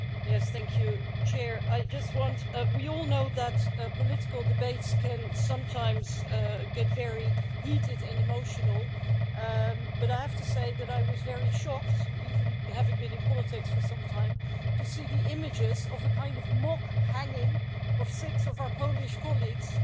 Madam President, we all know that political debates can sometimes get very heated and emotional, but I have to say that I was very shocked, even having been in politics for some time, to see the images of a kind of mock hanging of six of our Polish colleagues